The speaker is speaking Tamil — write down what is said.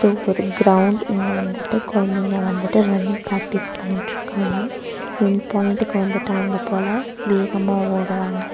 இது ஒரு கிரவுண்ட் இங்க வந்துட்டு குழந்தைங்க வந்துட்டு ரன்னிங் பிராக்டிஸ் பண்ணிட்டு இருக்காங்க என்பாயின்ட்டுக்கு வந்துட்டாங்க போல வேகமா ஒடுராங்க.